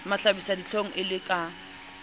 mahlabisa dihlong e le ka